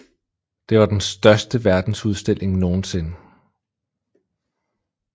Det var den største verdensudstilling nogensinde